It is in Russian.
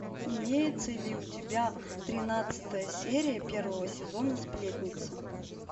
имеется ли у тебя тринадцатая серия первого сезона сплетница